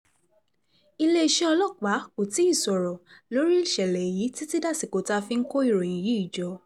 iléeṣẹ́ ọlọ́pàá kò tí ì sọ̀rọ̀ lórí ìṣẹ̀lẹ̀ yìí títí dàsìkò tá a fi ń kó ìròyìn yìí jọ